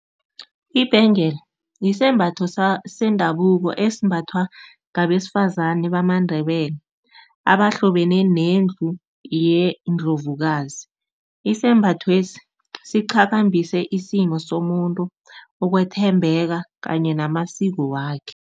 Ibhengela yisembatho sendabuko esimbathwa ngabesifazane bamaNdebele abahlobene nendlu yeNdlovukazi. Isembathwesi siqhabambise isimo somuntu, ukwethembeka kanye namasiko wakhe.